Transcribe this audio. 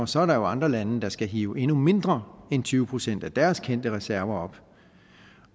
så er der jo andre lande der skal hive endnu mindre end tyve procent af deres kendte reserver op